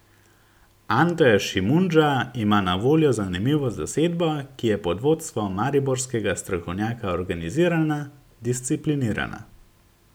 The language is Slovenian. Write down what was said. Ante Šimundža ima na voljo zanimivo zasedbo, ki je pod vodstvom mariborskega strokovnjaka organizirana, disciplinirana.